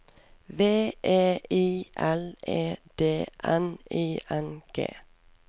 V E I L E D N I N G